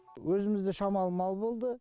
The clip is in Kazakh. өзімізде шамалы мал болды